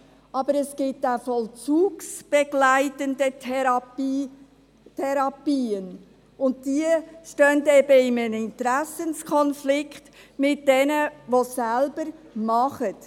Doch es gibt auch vollzugsbegleitende Therapien, und diese stehen eben in einem Interessenkonflikt zu denen, die es selber machen.